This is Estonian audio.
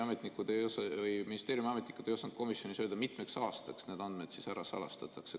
Ministeeriumi ametnikud ei osanud komisjonis öelda, mitmeks aastaks need andmed ära salastatakse.